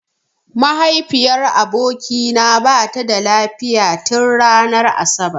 Mahaifiyar abokina bata da lafiya tin ranar asabar.